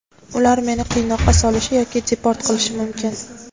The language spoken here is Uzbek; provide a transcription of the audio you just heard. Ular meni qiynoqqa solishi yoki deport qilishi mumkin.